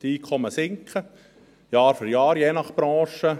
Die Einkommen sinken Jahr für Jahr, je nach Branche.